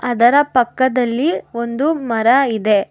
ಅದರ ಪಕ್ಕದಲ್ಲಿ ಒಂದು ಮರ ಇದೆ.